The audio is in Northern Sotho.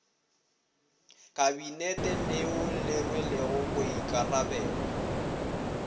kabinete leo le rwelego boikarabelo